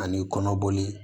Ani kɔnɔboli